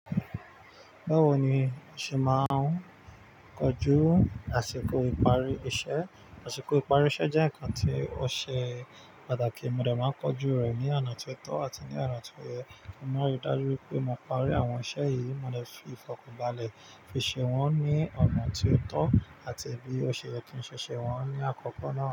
Báwo ni o ṣe máa ń kojú àsìkò ìparí iṣẹ́? Àsìkò ìparí iṣẹ́ jẹ́ ǹkan tí ó ṣe pàtàkì, mo dẹ̀ máa ń kojú rẹ̀ ní ọ̀nà tó tọ́ àti ní ọ̀nà tó yẹ. Mo máa ń rí dájú pé mo parí àwọn iṣẹ́ yìí, mo de fi ìfọ̀kànbalẹ̀ fi ṣe wọ́n ní ọ̀nà tí ó tọ́ àti bí ó ṣe yẹ kí n ṣe ṣe wọ́n ní àkókò náà.